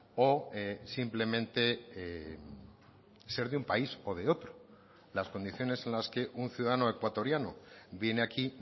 o simplemente ser de un país o de otro las condiciones en las que un ciudadano ecuatoriano viene aquí